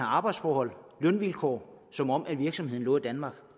arbejdsforhold lønvilkår som om virksomheden lå i danmark